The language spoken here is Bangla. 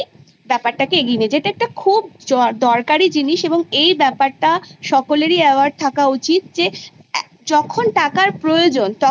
এটা একটা খুব দরকারি জিনিস এবংএই ব্যপারটা সকলেরই aware? থাকা উচিত যখন টাকার প্রয়োজন তখন